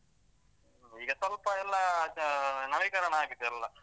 ಈಗ ಸ್ವಲ್ಪ ಎಲ್ಲ ಅದು ನವೀಕರಣ ಆಗಿದೆಲ್ಲ.